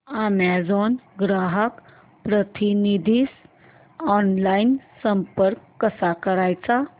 Amazon ग्राहक प्रतिनिधीस online संपर्क कसा करायचा